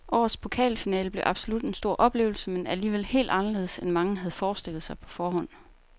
Årets pokalfinale blev absolut en stor oplevelse, men alligevel helt anderledes end mange havde forestillet sig på forhånd.